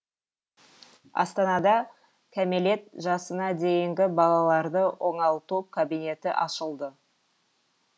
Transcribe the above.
астанада кәмелет жасына дейінгі балаларды оңалту кабинеті ашылды